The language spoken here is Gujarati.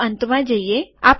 ચાલો અંતમાં જઈએ